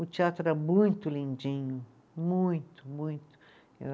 O teatro era muito lindinho, muito, muito.